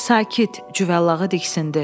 Sakit, Cüvəllağı diksindi.